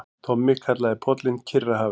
Tommi kallaði pollinn Kyrrahafið.